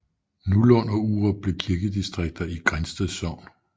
Nollund og Urup blev kirkedistrikter i Grindsted Sogn